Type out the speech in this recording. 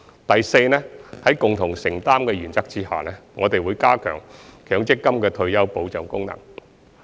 第四，在共同承擔的原則下，我們會加強強積金的退休保障功能。